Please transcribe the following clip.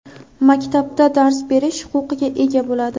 maktabda dars berish huquqiga ega bo‘ladi.